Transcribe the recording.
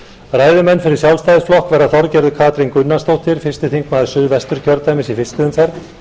ræðumenn fyrir sjálfstæðisflokk verða þorgerður katrín gunnarsdóttir fyrsti þingmaður suðvesturkjördæmis í fyrstu umferð